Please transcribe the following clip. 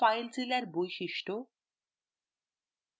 filezilla এর বৈশিষ্ট্য